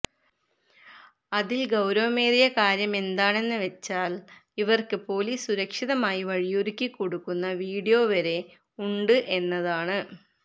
അതില് ഗൌരവമേറിയ കാര്യമെന്താണെന്നു വെച്ചാല് ഇവര്ക്ക് പൊലിസ് സുരക്ഷിതമായി വഴിയൊരുക്കി കൊടുക്കുന്ന വീഡിയോ വരെ ഉണ്ട് എന്നതാണ്